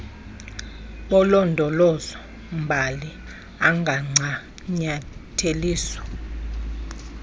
bolondolozo mbali angancanyatheliswa